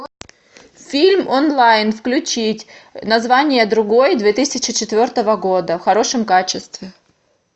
фильм онлайн включить название другой две тысячи четвертого года в хорошем качестве